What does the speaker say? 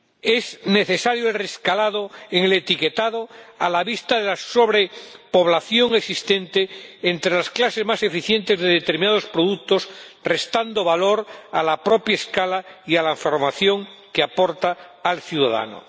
Es necesario el reajuste en el etiquetado a la vista de la sobrepoblación existente entre las clases más eficientes de determinados productos, restando valor a la propia escala y a la información que aporta al ciudadano.